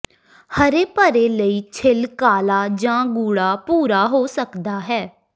ਹਰੇ ਭਰੇ ਲਈ ਛਿੱਲ ਕਾਲਾ ਜਾਂ ਗੂੜਾ ਭੂਰਾ ਹੋ ਸਕਦਾ ਹੈ